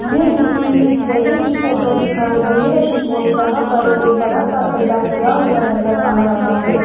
ये किसी जगह की फोटो दिखाई दे रही है जहां पर एक बड़ा सा गड्ढा खुदा हुआ नजर आ रहा है।